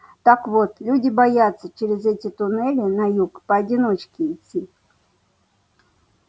так вот люди боятся через эти туннели на юг поодиночке идти